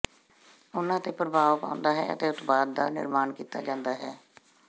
ਉਨ੍ਹਾਂ ਤੇ ਪ੍ਰਭਾਵ ਪਾਉਂਦਾ ਹੈ ਅਤੇ ਉਤਪਾਦ ਦਾ ਨਿਰਮਾਣ ਕੀਤਾ ਜਾਂਦਾ ਹੈ